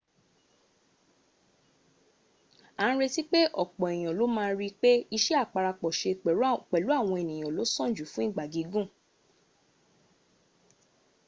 a n retí pé ọ̀pọ̀ èyàn ló ma ríi pé iṣẹ́ àparapọ̀ ṣe pẹ̀lú àwọn èyàn ló sàn jù fún ìgbà gígùn